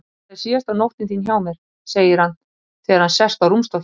Þetta er síðasta nóttin þín hjá mér, segir hann þegar hann sest á rúmstokkinn.